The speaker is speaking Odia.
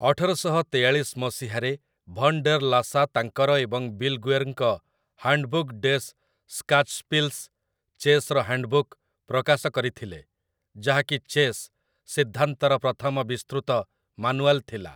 ଅଠରଶହ ତେୟାଳିଶ ମସିହାରେ ଭନ୍ ଡେର୍ ଲାସା ତାଙ୍କର ଏବଂ ବିଲଗୁଏର୍‌ଙ୍କ ହାଣ୍ଡବୁକ୍ ଡେସ୍ ସ୍କାଚସ୍ପିଲ୍‌ସ, ଚେସ୍‌ର ହାଣ୍ଡବୁକ୍, ପ୍ରକାଶ କରିଥିଲେ, ଯାହାକି ଚେସ୍ ସିଦ୍ଧାନ୍ତର ପ୍ରଥମ ବିସ୍ତୃତ ମାନୁଆଲ୍ ଥିଲା ।